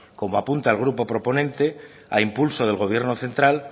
como apunta el grupo proponente a impulso del gobierno central